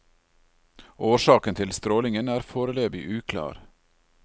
Årsaken til strålingen er foreløpig uklar.